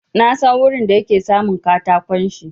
Na san wurin da yake samun katakon shi.